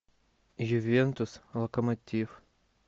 ювентус локомотив